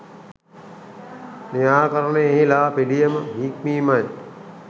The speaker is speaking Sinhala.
නිරාකරණයෙහි ලා පිළියම හික්මීමයි.